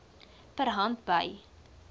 per hand by